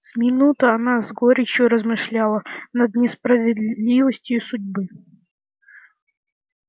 с минуту она с горечью размышляла над несправедливостью судьбы